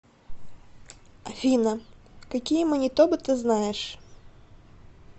афина какие манитоба ты знаешь